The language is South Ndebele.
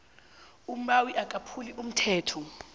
umbawi akaphuli umthetho